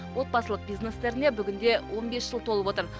отбасылық бизнестеріне бүгінде он бес жыл толып отыр